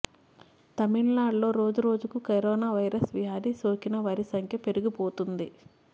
తమిళనాడులో రోజురోజుకు corona virus వ్యాధి సోకిన వారి సంఖ్య పెరిగిపోతుంది